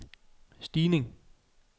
stigning